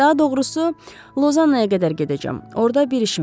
Daha doğrusu, Lozannaya qədər gedəcəm, orda bir işim var.